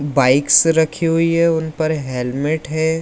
Bikes रखी हुई है उन पर हेल्मेट है।